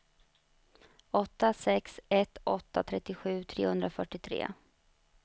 åtta sex ett åtta trettiosju trehundrafyrtiotre